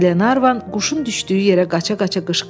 Qlenarvan quşun düşdüyü yerə qaça-qaça qışqırdı.